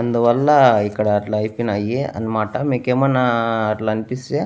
అందువల్ల ఇక్కడ అట్లా అయిపినయి అనమాట మీకేమన్నా అట్లా అనిపిస్తే --